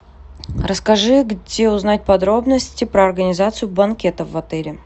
расскажи где узнать подробности про организацию банкетов в отеле